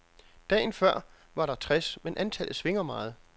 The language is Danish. Dagen før var der tres, men antallet svinger meget.